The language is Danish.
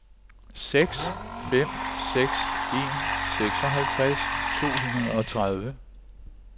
seks fem seks en seksoghalvtreds to hundrede og tredive